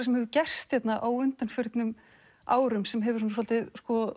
sem hefur gerst hérna á undanförnum árum sem hefur svolítið